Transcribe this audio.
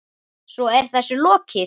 Svo er þessu lokið?